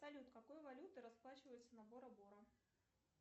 салют какой валютой расплачиваются на боро боро